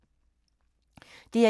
DR1